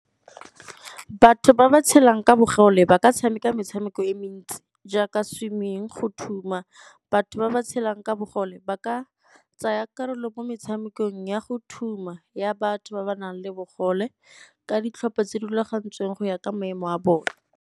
Batho ba ba tshelang ka bogole ba ka tshameka metshameko e mentsi jaaka swimming, go thuma. Batho ba ba tshelang ka bogole ba ka tsaya karolo mo metshamekong ya go thuma ya batho ba ba nang le bogole ka ditlhopha tse di rulagantsweng go ya ka maemo a bone.